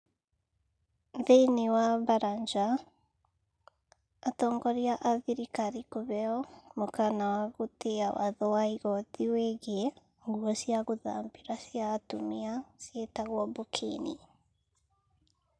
Thiinii wa baranja, atongoria a thirikari kũheo mũkaana wa gũtĩa watho wa igoti wĩgiĩ nguo cia gũthambĩra cia atumia ciĩtagwo burkini.